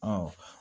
Ɔ